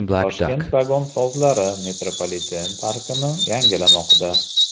Toshkent vagonsozlari metropoliten parkini yangilamoqda.